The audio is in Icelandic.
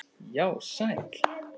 Já, sæll.